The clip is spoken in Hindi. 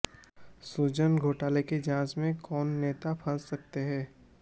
सृजन घोटाले की जांच में कौन नेता फंस सकते हैं